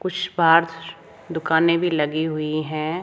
कुछ पास दुकानें भी लगी हुई हैं।